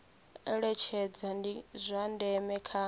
eletshedza ndi zwa ndeme kha